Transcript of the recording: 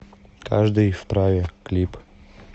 каждый вправе клип